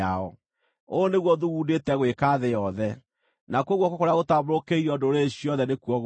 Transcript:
Ũũ nĩguo thugundĩte gwĩka thĩ yothe; nakuo guoko kũrĩa gũtambũrũkĩirio ndũrĩrĩ ciothe nĩkuo gũkũ.